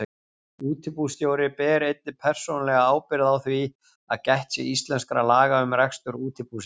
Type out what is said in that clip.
Útibússtjóri ber einnig persónulega ábyrgð á því að gætt sé íslenskra laga um rekstur útibúsins.